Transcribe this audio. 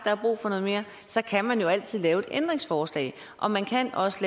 er brug for noget mere og så kan man jo altid lave et ændringsforslag og man kan også